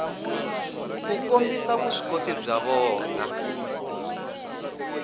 ku kombisa vuswikoti bya vona